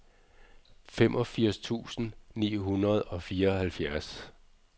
femogfirs tusind ni hundrede og fireoghalvfjerds